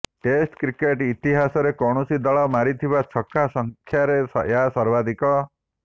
test cricket ଇତିହାସରେ କୌଣସି ଦଳ ମାରିଥିବା ଛକା ସଂଖ୍ୟାରେ ଏହା ସର୍ବାଧିକ